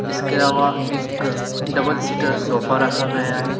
इसके अलावा एक डबल सीटर सोफा रखा गया है।